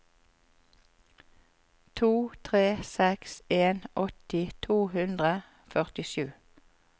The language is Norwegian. to tre seks en åtti to hundre og førtisju